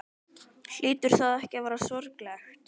Hlýtur það ekki að vera sorglegt?